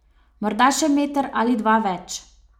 Morda še meter ali dva več...